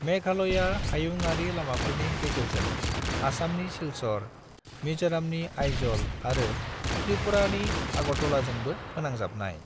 मेघालयआ हुयंयारि लामाफोरनि गेजेरजों आसामनि सिलचर, मिजोरमनि आइज'ल आरो त्रिपुरानि अगरतलाजोंबो फोनांजाबनाय।